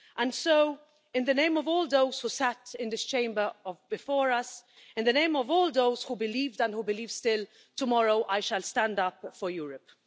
And so, in the name of all those who sat in this Chamber before us, in the name of all those who believed and believe still, tomorrow I shall stand up for Europe.